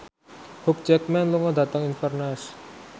Hugh Jackman lunga dhateng Inverness